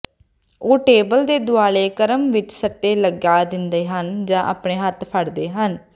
ਉਹ ਟੇਬਲ ਦੇ ਦੁਆਲੇ ਕ੍ਰਮ ਵਿੱਚ ਸੱਟੇ ਲਗਾ ਦਿੰਦੇ ਹਨ ਜਾਂ ਆਪਣੇ ਹੱਥ ਫੜਦੇ ਹਨ